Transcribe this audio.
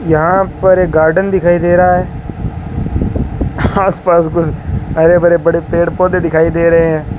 यहां पर एक गार्डन दिखाई दे रहा है आसपास कुछ हरे भरे बड़े पेड़ पौधे दिखाई दे रहे हैं।